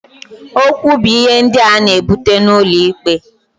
Okwu bu ihe ndị a na-ebute n'ụlọ ikpe.